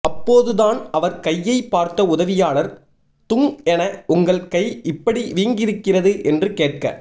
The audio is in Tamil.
அப்போது தான் அவர் கையை பார்த்த உதவியாளர் துங் என்ன உங்கள் கை இப்படி வீங்கியிருக்கிறது என்று கேட்க